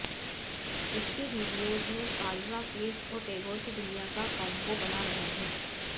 इसके वीडियो में कालरा फैज़ और टैगोर की दुनिया का कॉम्बो बना रहे हैं